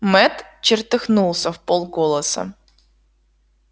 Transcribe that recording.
мэтт чертыхнулся вполголоса